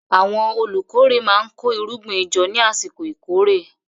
Àwọn olùkórè máa ń kó irúgbìn jọ ní àsìkò ìkórè.